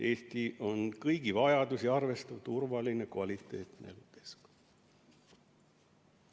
"Eestis on kõigi vajadusi arvestav, turvaline ja kvaliteetne keskkond.